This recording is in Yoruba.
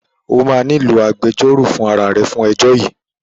Ó máa nílò agbejọ́rò fún ara à rẹ fún ẹjọ́ yìí